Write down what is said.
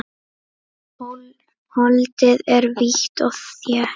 Holdið er hvítt og þétt.